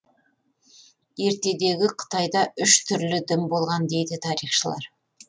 ертедегі қытайда үш түрлі дін болған дейді тарихшылар